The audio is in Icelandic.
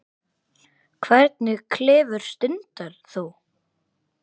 Hvernig klifur stundar þú?